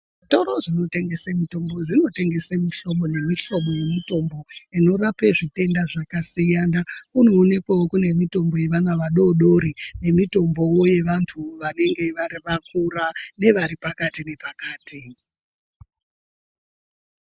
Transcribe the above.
Zvitoro zvinotengese mitombo zvinotengeswe mihlobo nemihlobo yemutombo. Inorape zvitenda zvakasiyana inoonekwavo kune mitombo yevana vadodori nemitombovo yevantu vanonga vari vakura nevari pakati nepakati.